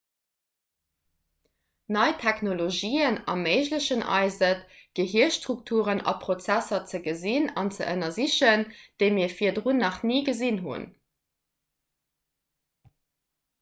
nei technologien erméiglechen eis et gehirstrukturen a prozesser ze gesinn an ze ënnersichen déi mir virdrun nach ni gesinn hunn